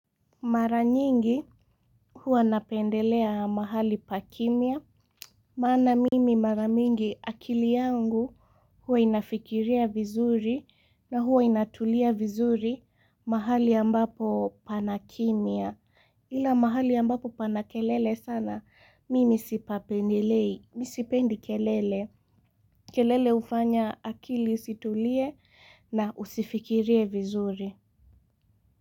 Mara nyingi huwa napendelea mahali pa kimya. Maana mimi mara mingi akili yangu huwa inafikiria vizuri na huwa inatulia vizuri mahali ambapo pana kimya. Ila mahali ambapo pana kelele sana mimi sipapendelei, mimi sipendi kelele. Kelele hufanya akili isitulie na usifikirie vizuri.